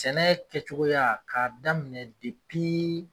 Sɛnɛ kɛcogoya ka daminɛ